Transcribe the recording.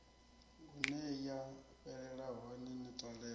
huneya fhelela hone ni talele